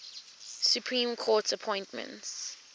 supreme court appointments